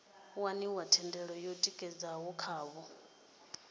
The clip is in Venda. waniwa thendelo yo tikedzwaho khavho